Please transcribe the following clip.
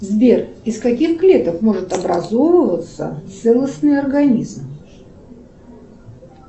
сбер из каких клеток может образовываться целостный организм